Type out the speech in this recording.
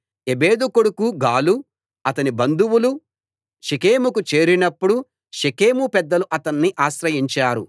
ఎబెదు కొడుకు గాలు అతని బంధువులు షెకెముకు చేరినప్పుడు షెకెము పెద్దలు అతన్ని ఆశ్రయించారు